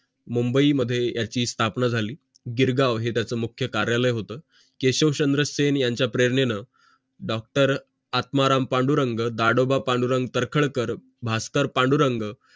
मुंबई मध्ये याची स्थापना झाली गिरगाव हे त्याचे मुख्य कार्यालय होतं केशव चंद्र सेन यांच्या प्रेरणेनं डॉक्टर आत्माराम पांडुरंग दादोबा पांडुरंग तर्खडकर भास्कर पांडुरंग